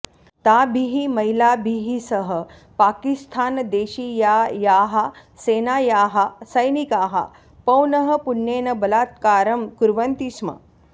ताभिः महिलाभिः सह पाकिस्थानदेशीयायाः सेनायाः सैनिकाः पौनःपुन्येन बलात्कारं कुर्वन्ति स्म